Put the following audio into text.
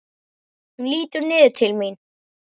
Hann lítur niður til mín.